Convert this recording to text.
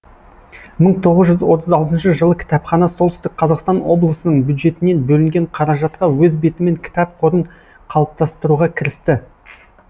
мың тоғыз жүз отыз алтыншы жылы кітапхана солтүстік қазақстан облысының бюджетінен бөлінген қаражатқа өз бетімен кітап қорын қалыптастыруға кірісті